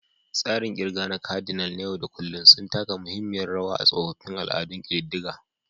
Tsarin ƙirga na kadinal da na yau da kullun sun taka muhimmiyar rawa a tsoffin al'adun ƙididdiga.